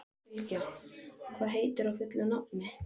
Sylgja, hvað heitir þú fullu nafni?